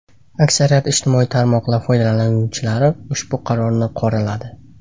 Aksariyat ijtimoiy tarmoqlar foydalanuvchilari ushbu qarorni qoraladi.